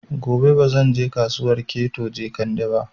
Gobe ba zan je Kasuwar Keto Jekande ba